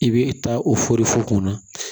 I bɛ taa o fu kunna